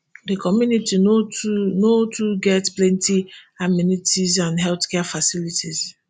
di community no too no too get plenti amenities and healthcare facilities